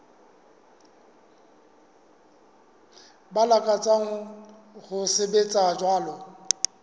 ba lakatsang ho sebetsa jwalo